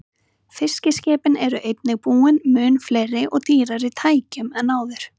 Fiskiskipin eru einnig búin mun fleiri og dýrari tækjum en áður.